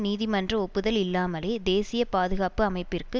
நீதிமன்ற ஒப்புதல் இல்லாமலே தேசிய பாதுகாப்பு அமைப்பிற்கு